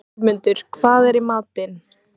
Geirmundur, hvað er í matinn?